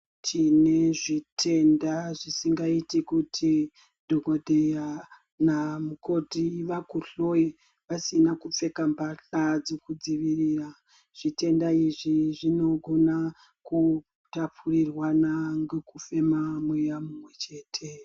Tine zvitenda zvisingaiti kuti dhokodheya namukoti vakuhloye vasina kupfeka masha dzekudzivirira. Zvitenda izvi zvinogona kutapurirwana ngokufema mweya mumwechete.